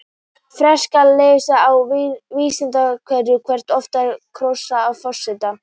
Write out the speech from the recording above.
Frekara lesefni á Vísindavefnum: Hversu oft er kosið um forseta?